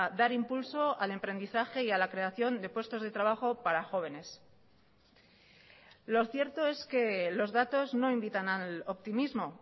dar impulso al emprendizaje y a la creación de puestos de trabajo para jóvenes lo cierto es que los datos no invitan al optimismo